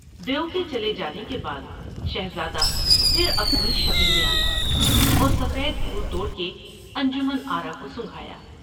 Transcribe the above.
دیو کے چلے جانے کے بعد شہزادہ پھر اپنی شکل میں آیا اور سفید پھول توڑ کے انجمن آرا کو سنگھایا ۔